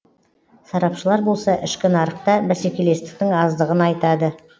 сарапшылар болса ішкі нарықта бәсекелестіктің аздығын айтады